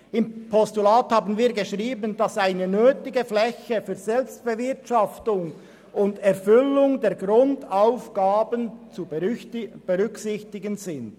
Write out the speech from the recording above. Im Postulat fordern wir, dass eine minimale Fläche für die Selbstbewirtschaftung und die Erfüllung der Grundaufgaben zu berücksichtigen ist.